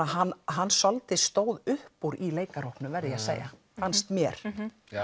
hann hann svolítið stóð upp úr í verð ég að segja fannst mér